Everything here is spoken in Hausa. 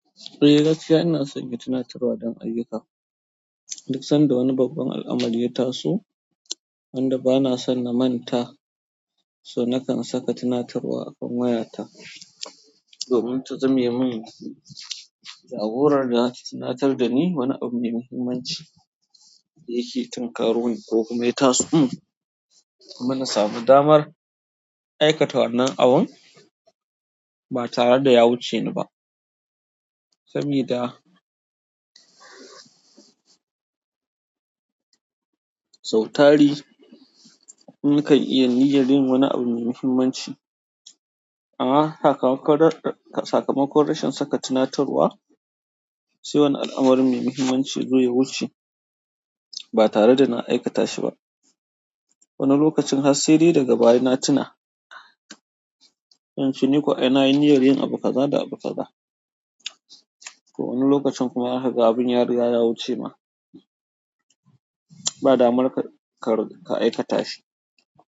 Eh gaskiya ina sanya tunatarwa don ayyuka. Duk sanda wani babban al'amari ya taso wanda bana son na manta, so nakan saka tunatarwa a kan wayata domin ta zame min. Jagorar da za ta tunatar da ni wani abu mai muhimmanci da yake tunkaroni ko kuma ya taso. Kuma na samu damar aikata wannan abun ba tare da ya wuce ni ba, sabida sau tari nakan iya niyyar yin wani abu mai muhimmanci. Amma sakamakon rashin saka tunatarwa, sai wani al'amari mai muhimmanci yazo ya wuce ba tare da na aikata shi ba. Wani lokacin har sai dai daga baya na tuna, sai inche ni ko anayi niyyar yin abu kaza da abu kaza. To wani lokacin kuma zakaga abin ya riga ya wuce ma ba damar ka aikata shi.